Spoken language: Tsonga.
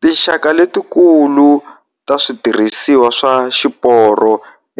Tinxaka letikulu ta switirhisiwa swa xiporo